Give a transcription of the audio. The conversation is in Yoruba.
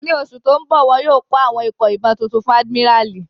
Ní oṣù tó n bọ̀, wọ́n yóò kó àwọn ikọ̀ ìbọn tuntun fún àdìmíràlí